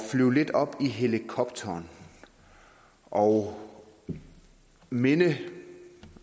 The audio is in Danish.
flyve lidt op i helikopteren og minde